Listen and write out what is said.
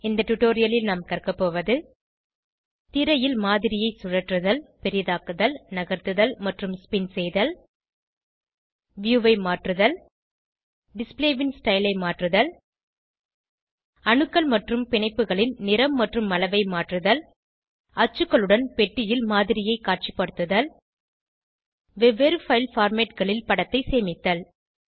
இந்த டுடோரியலில் நாம் கற்கபோவது திரையில் மாதிரியை சுழற்றுதல் பெரிதாக்குதல் நகர்த்துதல் மற்றும் ஸ்பின் செய்தல் வியூ ஐ மாற்றுதல் டிஸ்ப்ளே ன் ஸ்டைல் ஐ மாற்றுதல் அணுக்கள் மற்றும் பிணைப்புகளின் நிறம் மற்றும் அளவை மாற்றுதல் அச்சுகளுடன் பெட்டியில் மாதிரியை காட்சிபடுத்துதல் வெவ்வேறு பைல் formatகளில் படத்தை சேமித்தல்